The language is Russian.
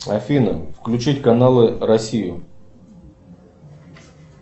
афина включить каналы россию